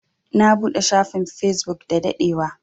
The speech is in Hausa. Na buɗe shafin Facebook da daɗewa.